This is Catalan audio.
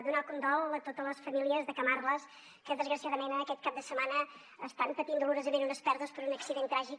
donar el condol a totes les famílies de camarles que desgraciadament aquest cap de setmana estan patint dolorosament unes pèrdues per un accident tràgic